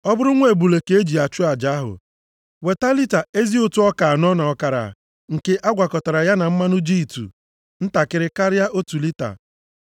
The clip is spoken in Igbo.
“ ‘Ọ bụrụ nwa ebule ka e ji achụ aja ahụ, weta lita ezi ụtụ ọka anọ na ọkara, nke a gwakọtara ya na mmanụ jitụ ntakịrị karịa otu lita,